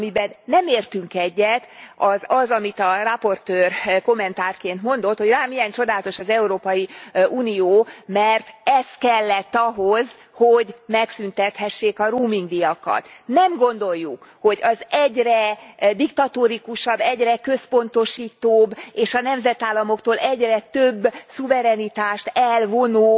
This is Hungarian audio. Amiben nem értünk egyet, az az, amit a raportőr kommentárként mondott, hogy lám milyen csodálatos az Európai Unió, mert ez kellett ahhoz, hogy megszüntethessék a roamingdíjakat. Nem gondoljuk, hogy az egyre diktatórikusabb, egyre központosítóbb, és a nemzetállamoktól egyre több szuverenitást elvonó